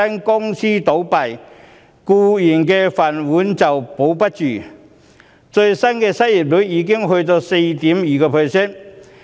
公司倒閉，僱員"飯碗"不保，最新的失業率已達到 4.2%。